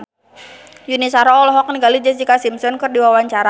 Yuni Shara olohok ningali Jessica Simpson keur diwawancara